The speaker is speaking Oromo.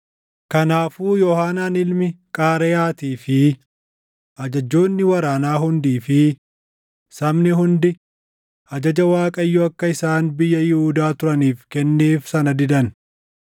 Kanaafuu Yoohaanaan ilmi Qaareyaatii fi ajajjoonni waraanaa hundii fi sabni hundi ajaja Waaqayyo akka isaan biyya Yihuudaa turaniif kenneef sana didan.